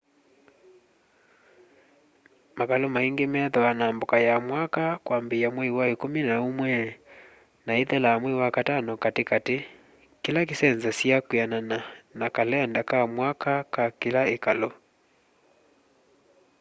makalû maingî methwaa na mboka ya mwaka kwambîîya mwei wa îkûmî na ûmwe na îithela mwei wa katano katîkatî kîla kîsenzasya kwîanana na kalenda ka mwaka ka kîla îkalû